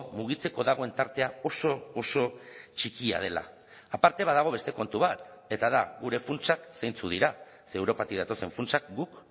mugitzeko dagoen tartea oso oso txikia dela aparte badago beste kontu bat eta da gure funtsak zeintzuk dira ze europatik datozen funtsak guk